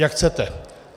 Jak chcete.